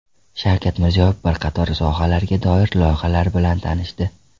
Shavkat Mirziyoyev bir qator sohalarga doir loyihalar bilan tanishdi.